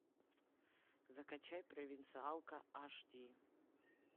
закачай провинциалка аш ди